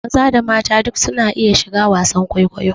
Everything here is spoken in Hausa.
Maza da mata duk su na iya shiga wasan kwaikwayo